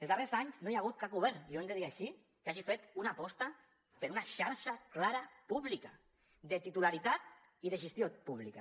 els darrers anys no hi ha hagut cap govern i ho hem de dir així que hagi fet una aposta per una xarxa clara pública de titularitat i de gestió públiques